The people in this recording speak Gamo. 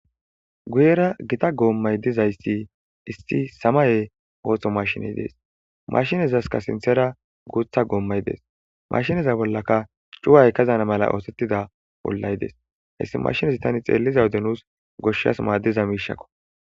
Guyera gitta gomay dizaysi issi samaye machine des mashinezaska sinthara gutha gomay des mashineza bollaka cuwa kezana othetida ollay des haysi machines tani xellode nus goshas madiza mishako